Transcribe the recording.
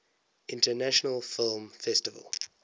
international film festival